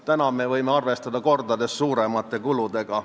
Nüüd võime arvestada kordades suuremate kuludega.